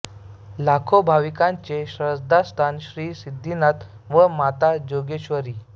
लाखो भाविकांचे श्रद्धास्थान श्री सिद्धनाथ व माता जोगेश्वरी